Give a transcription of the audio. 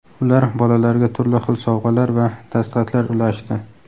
Ular bolalarga turli xil sovg‘alar va dastxatlar ulashdi.